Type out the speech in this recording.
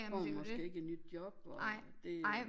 Får man måske ikke et nyt job og det øh